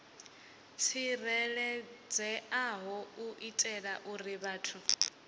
tsireledzeaho u itela uri vhathu